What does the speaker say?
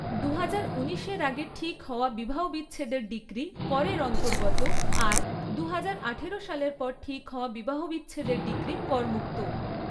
দুহাজার উনিশের আগে ঠিক হওয়া বিবাহবিচ্ছেদের ডিক্রি করের অন্তর্গত আর দুহাজার আঠারো সালের পরে ঠিক হওয়া বিবাহবিচ্ছেদের ডিক্রি করমুক্ত।